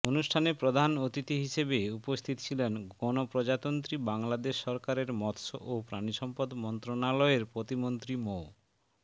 অনুষ্ঠানে প্রধান অতিথি হিসেবে উপস্থিত ছিলেন গণপ্রজাতন্ত্রী বাংলাদেশ সরকারের মৎস ও প্রাণিসম্পদ মন্ত্রণালয়ের প্রতিমন্ত্রী মো